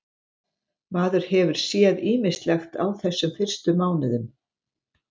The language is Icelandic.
Maður hefur séð ýmislegt á þessum fyrstu mánuðum.